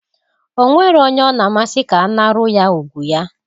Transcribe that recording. O nwero onye ọ na-amasi ka anaru ya ùgwù ya.